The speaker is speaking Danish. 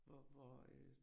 Hvor hvor øh